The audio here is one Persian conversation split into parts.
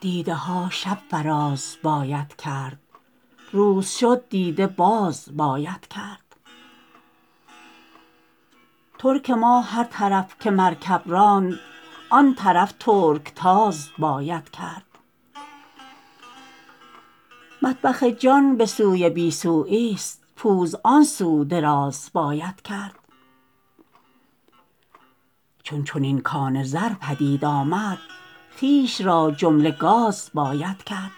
دیده ها شب فراز باید کرد روز شد دیده باز باید کرد ترک ما هر طرف که مرکب راند آن طرف ترکتاز باید کرد مطبخ جان به سوی بی سویی ست پوز آن سو دراز باید کرد چون چنین کان زر پدید آمد خویش را جمله گاز باید کرد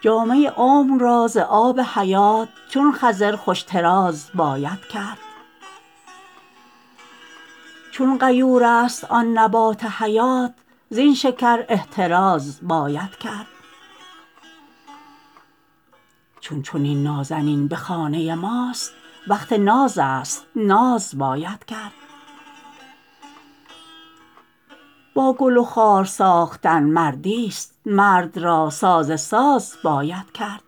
جامه عمر را ز آب حیات چون خضر خوش طراز باید کرد چون غیور ست آن نبات حیات زین شکر احتراز باید کرد چون چنین نازنین به خانه ماست وقت نازست ناز باید کرد با گل و خار ساختن مردی ست مرد را ساز ساز باید کرد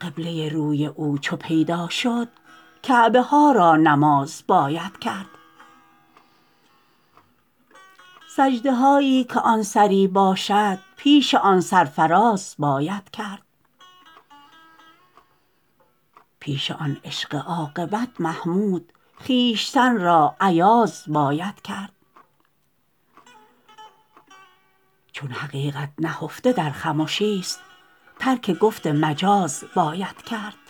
قبله روی او چو پیدا شد کعبه ها را نماز باید کرد سجده هایی که آن سری باشد پیش آن سر فراز باید کرد پیش آن عشق عاقبت محمود خویشتن را ایاز باید کرد چون حقیقت نهفته در خمشی ست ترک گفت مجاز باید کرد